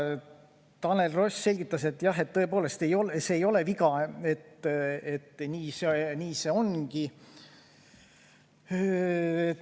Tanel Ross vastas, et jah, tõepoolest, see ei ole viga, nii see ongi.